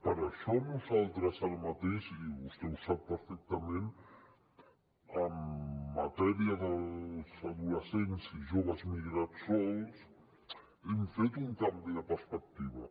per això nosaltres ara mateix i vostè ho sap perfectament en matèria dels adolescents i joves migrats sols hem fet un canvi de perspectiva